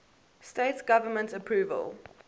states government approval